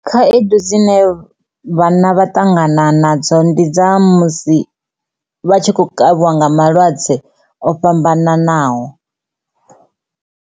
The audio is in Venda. Khaedu dzine vhanna vha ṱangana nadzo ndi dza musi vha tshi khou kavhiwa nga malwadze o fhambananaho.